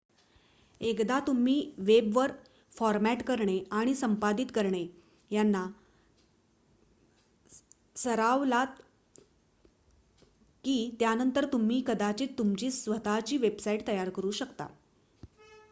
एकदा तुम्ही वेबवर फॉरमॅट करणे आणि संपादित करणे यांना सरावलात की त्यानंतर तुम्ही कदाचित तुमची स्वतःची वेबसाइट तयार करू शकता